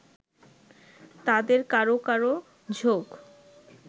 তাদের কারো কারো ঝোঁক